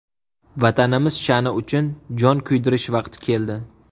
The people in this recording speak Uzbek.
Vatanimiz sha’ni uchun jon kuydirish vaqti keldi!